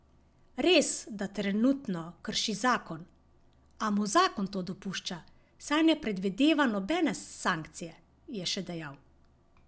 Res, da trenutno krši zakon, a mu zakon to dopušča, saj ne predvideva nobene sankcije, je še dejal.